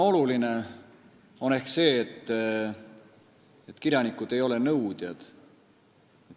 Oluline on aga ehk see, et kirjanikud ei ole nõudjad.